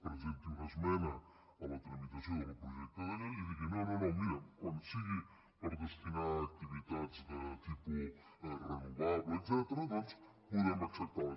presenti una esmena a la tramitació del projecte de llei i digui no no quan sigui per destinar a activitats de tipus renovable etcètera podem acceptar les